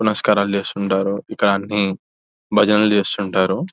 నమస్కారాలు చేస్తుంటారు ఇక్కడ అన్ని భజనలు చేస్తుంటారు --